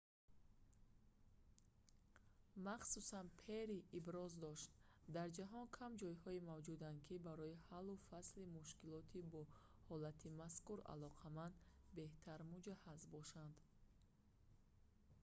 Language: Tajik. махсусан перри махсус иброз дошт дар ҷаҳон кам ҷойҳое мавҷуданд ки барои ҳаллу фасли мушкилоти бо ҳолати мазкур алоқаманд беҳтар муҷаҳҳаз бошанд